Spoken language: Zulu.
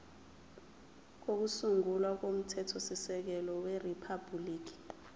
kokusungula komthethosisekelo weriphabhuliki